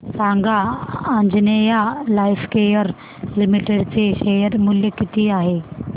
सांगा Anjaneya Lifecare Limited चे share मूल्य किती आहे